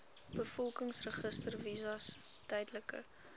bevolkingsregister visas tydelike